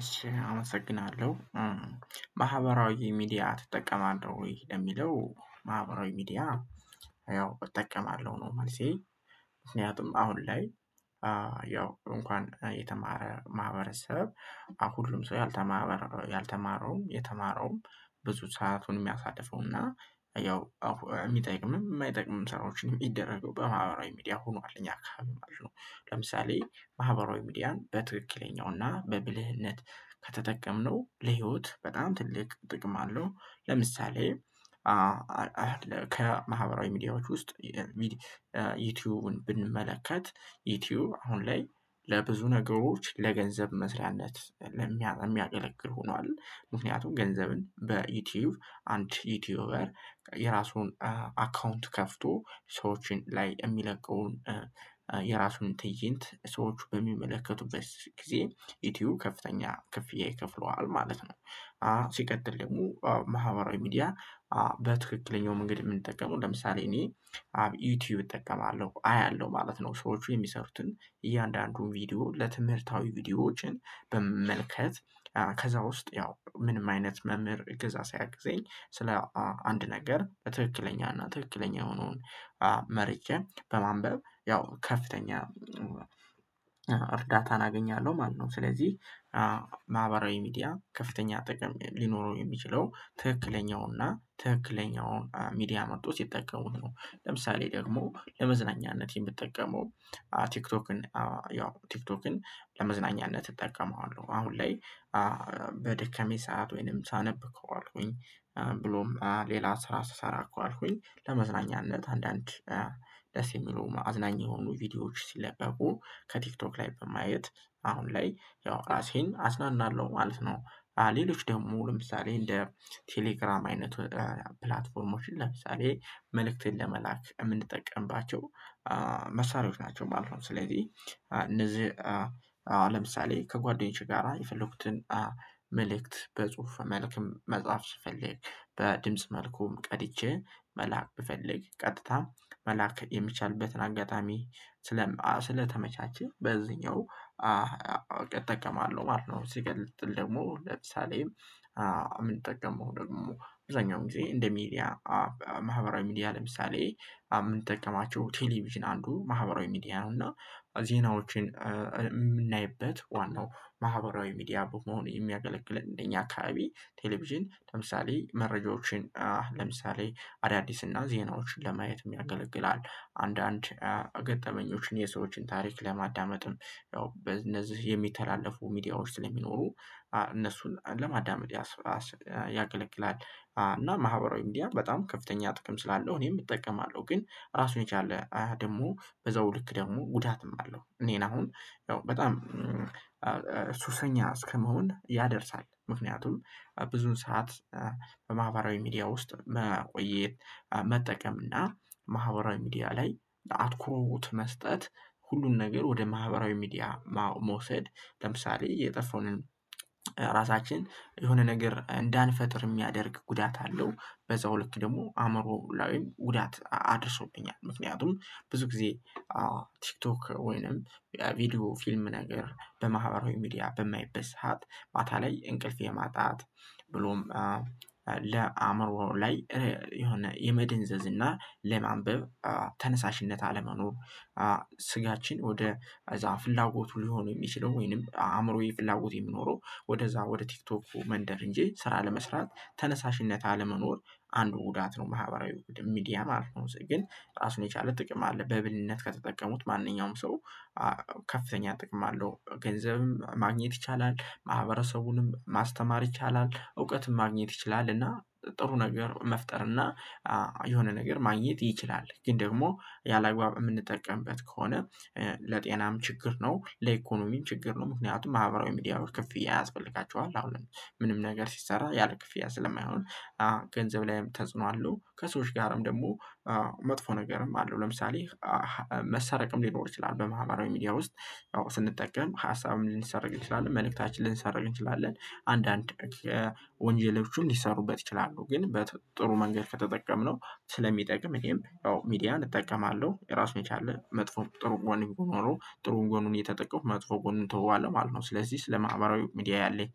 እሺ አመሰግናለሁ። ማህበራዊ ሚዲያ ትጠቀማለህ ወይ ለሚለው ማህበራዊ ሚዲያ ያው እጠቀማለሁ ነው መልሴ ምክንያቱም አሁን ላይ ያው እንኳን የተማረ ማህበረሰብ፤ አዎ ሁሉም ሰው የተማረ ያልተማረውም የተማረውም ብዙ ሰአቱን ሚያሳልፈዉና ያው ሚጠቅምም ማይጠቅምም ስራዎችን ሚደረገው በማህበራዊ ሚዲያ ሆኗል እኛ ሀገር ማለት ነው። ለምሳሌ ማህበራዊ ሚዲያን በትክክለኛው እና በብልህነት ከተጠቀምነው ለህይወት በጣም ትልቅ ጥቅም አለው ለምሳሌ ከማህበራዊ ሚዲያዎች ውስጥ ዩቲዩብን ብንመለከት ዩቲዩብ አሁን ላይ ለብዙ ነገሮች ለገንዘብ መስሪያነት ሚያገለግል ሆኗል ምክንያቱም ገንዘብን በዩቲዩብ አንድ ዩቲዩበር የራሱን አካውንት ከፍቶ ሰዎችን ላይ የሚለቀውን የራሱን ትይንት ሰዎች በሚመለከቱበት ጊዜ ዩቲዩብ ከፍተኛ ክፍያ ይከፍለዋል ማለት ነው። ሲቀጥል ደግሞ ማህበራዊ ሚዲያ በትክክለኛው መንገድ ምንጠቀመው ለምሳሌ እኔ አብ ዩቲዩብ እጠቀማለሁ እያለሁ ማለት ነው ሰዎች የሚሰሩትን እያንዳንዱን ቪዲዮ ለትምህርታዊ ቪዲዮዎችን በመመልከት ከዛ ውስጥ ያው ምንም አይነት መምህር እገዛ ሳያግዘኝ፤ ስለ አንድ ነገር በትክክለኛና ትክክለኛ የሆነዉን መርጬ በማንበብ ያው ከፍተኛ እርዳታን አገኛለሁ ማለት ነው። ስለዚህ ማህበራዊ ሚዲያ ከፍተኛ ጥቅም ሊኖረው የሚችለው ትክክለኛውና ትክክለኛውን ሚዲያ መርጠው ስጠቀሙት ነው። ለምሳሌ ደግሞ ለመዝናኛነት የምጠቀመው ቲክቶክን ያው ቲክቶክን ለመዝናኛነት እጠቀመዋለሁ አሁን ላይ በደከመኝ ሰዓት ወይንም ሳነብ ከዋልኩኝ ብሎም ሌላ ስራ ስሰራ ከዋልኩኝ ለመዝናኛነት አንዳንድ ደስ የሚሉ አዝናኝ የሆኑ ቪዲዮዎች ሲለቀቁ ከቲክቶክ ላይ በማየት አሁን ላይ ያው ራሴን አዝናናለሁ ማለት ነው። ሌሎች ደግሞ ለምሳሌ እንደ ቴሌግራም አይነት ፕላትፎርሞችን ለምሳሌ መልእክትን ለመላክ የምንጠቀምባቸው መሳሪያዎች ናቸው ማለት ነው። ስለዚህ እነዚህ ለምሳሌ ከጓደኞቼ ጋራ የፈለኩትን መልእክት በጽሁፍ መልክም መጽሐፍ ስፈልግ በድምጽ መልኩም ቀድቼ መላክ ብፈልግ ቀጥታ መላክ የሚቻልበትን አጋጣሚ ስለማ ስለተመቻቸ በዚህኛው እጠቀማለሁ ማለት ነው። ሲቀጥል ደግሞ ለምሳሌ ምንጠቀመው ደግሞ አብዛኛውን ጊዜ እንደ ሚዲያ ማህበራዊ ሚዲያ ለምሳሌ ምንጠቀማቸው ቴሌቪዥን አንዱ ማህበራዊ ሚዲያ ነው እና ዜናዎችን የምናይበት ዋናው ማህበራዊ ሚዲያ በመሆን የሚያገለግለን እንደኛ አካባቢ ቴሌቪዥን ለምሳሌ መረጃዎችን ለምሳሌ አዳዲስና ዜናዎችን ለማየትም ያገለግላል። አንዳንድ ገጠመኞችን የሰዎችን ታሪክ ለማዳመጥም ያው በእነዚህ የሚተላለፉ ሚዲያዎች ስለሚኖሩ እነሱን ለማዳመጥ ያገለግላል። እና ማህበራዊ ሚዲያ በጣም ከፍተኛ ጥቅም ስላለው እኔም እጠቀማለሁ ግን ራሱን የቻለ ደግሞ በዛው ልክ ደግሞ ጉዳትም አለው። እኔን አሁን ያው በጣም ሱሰኛ እስከመሆን ያደርሳል። ምክንያቱም ብዙን ሰዓት በማህበራዊ ሚዲያ ውስጥ መቆየት መጠቀም እና ማህበራዊ ሚዲያ ላይ አትኩሮውት መስጠት ሁሉን ነገር ወደ ማህበራዊ ሚዲያ መውሰድ ለምሳሌ የጠፋውን ራሳችን የሆነ ነገር እንዳንፈጥር ሚያደርግ ጉዳት አለው። በዛው ልክ ደግሞ አእምሮ ላይ ጉዳት አድርሶብኛል: ምክንያቱም ብዙ ጊዜ ቲክቶክ ወይንም ቪዲዮ ፊልም ነገር በማህበራዊ ሚዲያ በማይበት ሰዓት ማታ ላይ እንቅልፍ የማጣት ብሎም ለአእምሮ ላይ የሆነ የመደንዘዝ እና ለማንበብ ተነሳሽነት አለመኖር ስጋችን ወደ እዛ ፍላጎቱ ሊሆኑ የሚችለው ወይንም አእምሮዬ ፍላጎት የሚኖረው ወደዛ ወደ ቲክቶኩ መንደር እንጂ ስራ ለመስራት ተነሳሽነት አለመኖር አንዱ ጉዳት ነው ማህበራዊ ሚዲያ ማለት ነው። ግን እራሱን የቻለ ጥቅም አለ በብልነት ከተጠቀሙት ማንኛውም ሰው ከፍተኛ ጥቅም አለው። ገንዘብም ማግኘት ይቻላል፤ ማህበረሰቡንም ማስተማር ይቻላል፤ እውቀትም ማግኘት ይችላል እና ጥሩ ነገር መፍጠር እና የሆነ ነገር ማግኘት ይችላል። ግን ደግሞ ያላግባብ የምንጠቀምበት ከሆነ ለጤናም ችግር ነው ለኢኮኖሚም ችግር ነው ምክንያቱም ማህበራዊ ሚዲያዎች ክፍያ ያስፈልጋቸዋል አዎ ምንም ነገር ሲሰራ ያለ ክፍያ ስለማይሆን ገንዘብ ላይም ተጽዕኖ አለው ከሰዎች ጋርም ደግሞ መጥፎ ነገርም አለው ለምሳሌ መሰረቅም ሊኖር ይችላል በማህበራዊ ሚዲያ ውስጥ ስንጠቀም ሀሳብን ልንሰረቅ እንችላለን መልእክታችንን ልንሰረቅ እንችላለን አንዳንድ ወንጀሎችም ሊሰሩበት ይችላሉ ግን በጥሩ መንገድ ከተጠቀምነው ስለሚጠቅም እኔም ያው ሚዲያን እጠቀማለሁ እራሱን የቻለ መጥፎም ጥሩ ጎን ቢኖረዉም ጥሩ ጎኑን እየተጠቀምኩ መጥፎ ጎኑን እተወዋለው ማለት ነው። ስለዚህ ስለማህበራዊ ሚዲያ ያለኝ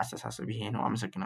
አስተሳሰብ ይሄ ነው አመሰግናለሁ።